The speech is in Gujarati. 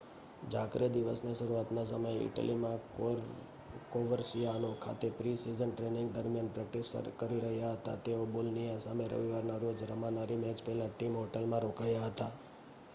જાર્કે દિવસની શરૂઆતના સમયે ઇટલીમાં કોવર્સિઆનો ખાતે પ્રિ-સિઝન ટ્રેનિંગ દરમિયાન પ્રૅક્ટિસ કરી રહ્યા હતા તેઓ બોલોનિયા સામે રવિવારના રોજ રમાનારી મૅચ પહેલાં ટીમ હોટલમાં રોકાયા હતા